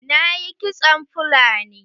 Na yi kitson fulani.